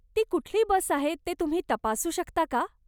ती कुठली बस आहे ते तुम्ही तपासू शकता का?